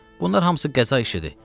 Bunlar hamısı qəza işidir.